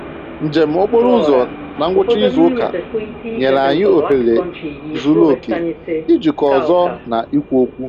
Njem okporo ụzọ na ngwụcha izu ụka nyere anyị ohere zuru oke ijikọ ọzọ na ikwu okwu